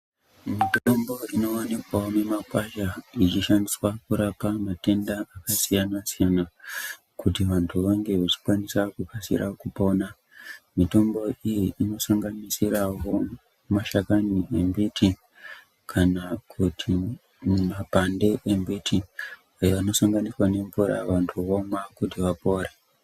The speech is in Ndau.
Mitombo inowanikwawo mimakwasha, ichishandiswa kuchirapa matenda akasiyana-siyana, kuti vantu vange vechikwanisa kukasira kupona. Mitombo iyi inosanganisirawo mashakani embiti, kana kuti mimapande embiti, eanosanganiswa nemvura vantu vomwa kuti vapore.